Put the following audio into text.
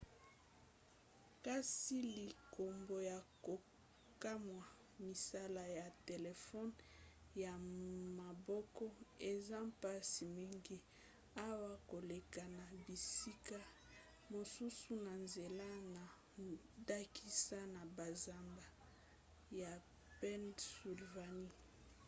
kasi likambo ya kokamwa misala ya telefone ya maboko eza mpasi mingi awa koleka na bisika mosusu na nzela na ndakisa na banzamba ya pennsylvanie